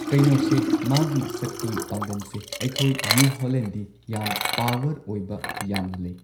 ꯀꯩꯅꯣꯁꯦ ꯃꯥꯒꯤ ꯁꯛꯇꯤ ꯄꯥꯡꯒꯟꯁꯦ ꯑꯩꯈꯣꯏ ꯅ꯭ꯌꯨ ꯍꯣꯂꯦꯟꯗꯗꯤ ꯌꯥꯝ ꯄꯥꯋꯔ ꯑꯣꯏꯕ ꯌꯥꯝꯅ ꯂꯩ꯫